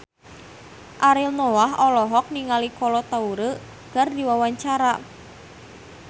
Ariel Noah olohok ningali Kolo Taure keur diwawancara